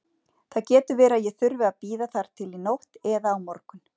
Það getur verið að ég þurfi að bíða þar til í nótt eða á morgun.